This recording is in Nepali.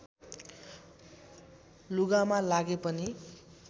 लुगामा लागे पनि